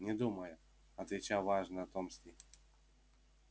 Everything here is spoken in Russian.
не думаю отвечал важно томский